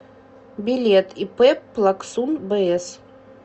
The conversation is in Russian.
билет ип плаксун бс